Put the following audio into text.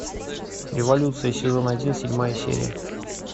революция сезон один седьмая серия